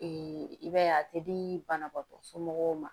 i b'a ye a tɛ di banabaatɔ somɔgɔw ma